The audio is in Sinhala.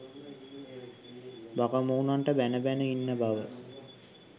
බකමූන්ට බැණ බැණ ඉන්න බව